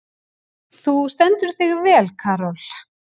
Þú stendur þig vel, Karol!